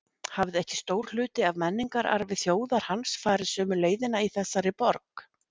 Hafði ekki stór hluti af menningararfi þjóðar hans farið sömu leiðina í þessari borg?